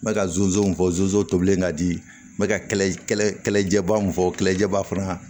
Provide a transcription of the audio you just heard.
N bɛ ka fɔ zonzan tobilen ka di n bɛ ka jɛba min fɔ kɛlɛjɛba fana